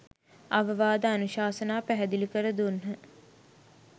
අවවාද අනුශාසනා පැහැදිලි කර දුන්හ.